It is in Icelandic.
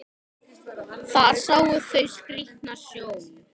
Þar sjá þau skrýtna sjón.